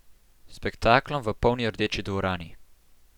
S spektaklom v polni Rdeči dvorani.